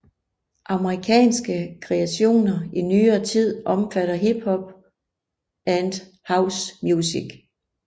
Amerikanske kreationer i nyere tid omfatter hip hop and house music